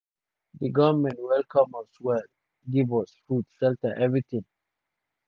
um di goment welcome us well give us food shelter evritin."